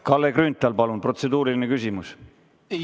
Kalle Grünthal, palun, protseduuriline küsimus!